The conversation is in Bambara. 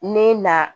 Ne na